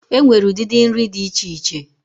Enwere udidi nri di iche iche,